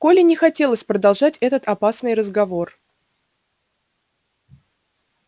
коле не хотелось продолжать этот опасный разговор